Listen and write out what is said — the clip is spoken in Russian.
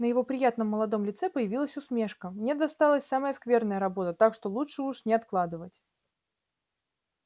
на его приятном молодом лице появилась усмешка мне досталась самая скверная работа так что лучше уж не откладывать